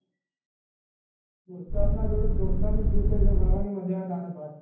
દોસ્ત ના જોડે દોસ્ત ના રીતે જ મજા આવે લાલત ભાઈ